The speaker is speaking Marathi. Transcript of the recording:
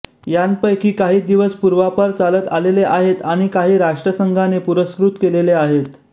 यांपैकी काही दिवस पूर्वापार चालत आलेले आहेत आणि काही राष्ट्रसंघाने पुरस्कृत केलेले आहेत